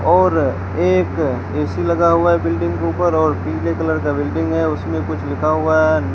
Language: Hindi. और एक ए_सी लगा हुआ है बिल्डिंग के ऊपर और पीले कलर का बिल्डिंग है उसमें कुछ लिखा हुआ है।